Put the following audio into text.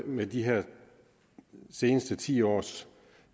med de seneste ti års